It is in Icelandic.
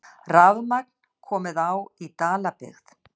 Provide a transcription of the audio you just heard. Rafmagn komið á í Dalabyggð